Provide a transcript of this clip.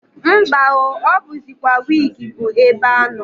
Mba o! O buzikwa wigi bu ebe ano.